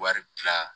Wari tila